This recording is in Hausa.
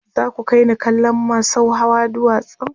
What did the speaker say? za ku kaini kallon masau Hawa duwatsan